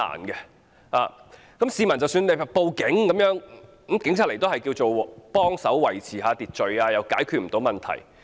即使市民報案，警員到場也只能協助維持秩序，無法解決問題。